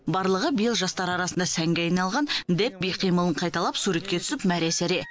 барлығы биыл жастар арасында сәнге айналған дэб би қимылын қайталап суретке түсіп мәре сәре